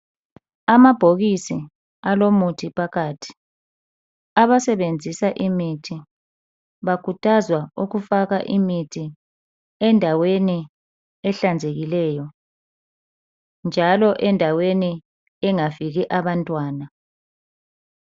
Amabhokisi alomuthi phakathi. Abasebenzisa imithi bakhuthazwa ukufaka imithi endaweni ehlanzekileyo njalo endaweni engafiki abantwana.